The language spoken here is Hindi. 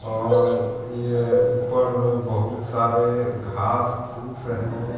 और यह ऊपर में बहुत सारे घास फूस हैं।